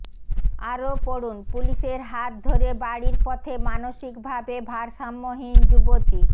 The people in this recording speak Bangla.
আরও পড়ুন পুলিশের হাত ধরে বাড়ির পথে মানসিকভাবে ভারসাম্যহীন যুবতী